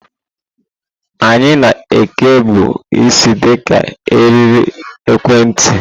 Anyị na ekebu isi di ka eriri ekwentị.